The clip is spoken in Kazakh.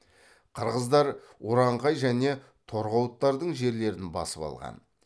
қырғыздар уранхай және торғауыттардың жерлерін басып алған